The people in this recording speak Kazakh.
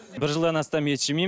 бір жылдан астам ет жемеймін